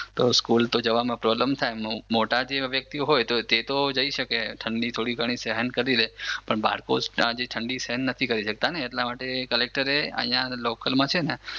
તો સ્કૂલ જવામાં પ્રોબ્લેમ થાય. મોટા જેવા વ્યક્તિઓ હોય તો તે તો જઈ શકે ઠંડી થોડી ઘણી સહન કરી લે પણ બાળકો હજી ઠંડી સહન નથી કરી શકતા એટલા માટે કલેકટરે અહિયાં લોકલમાં છે ને